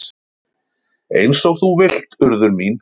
"""Eins og þú vilt, Urður mín."""